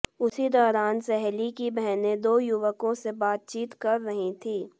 उसी दौरान सहेली की बहनें दो युवकों से बातचीत कर रही थीं